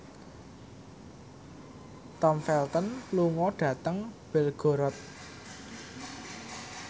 Tom Felton lunga dhateng Belgorod